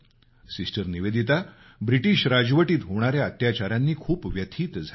sister Nivedita British राजमध्ये होणाऱ्या अत्याचारांनी खूप व्यथित झाल्या